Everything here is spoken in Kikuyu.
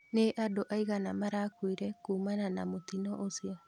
Nĩ andũ aigana marakuire kumana na mũtino ũcio?